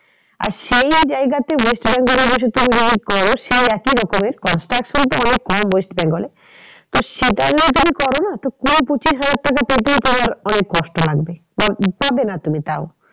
আর সেই জায়গাতে west bengal এ বসে সেই একই রকমের construction তো অনেক কম west bengal এ তো সেটা নিয়ে যদি করো না তো পঁচিশ হাজার টাকা তাতেও তোমার অনেক কষ্ট লাগবে পাবে না তুমি তাও।